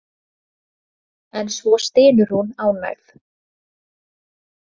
En svo stynur hún ánægð.